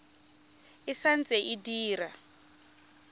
e sa ntse e dira